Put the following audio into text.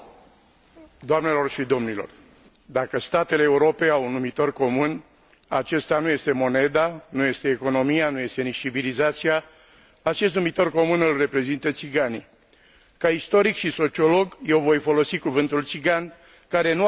Dacă statele Europei au un numitor comun, acesta nu este moneda, nu este economia, nu este nici civilizația, acest numitor comun îl reprezintă țiganii. Ca istoric și sociolog eu voi folosi cuvântul țigan, care nu are nimic peiorativ și înjositor